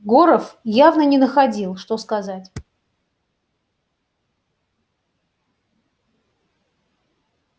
горов явно не находил что сказать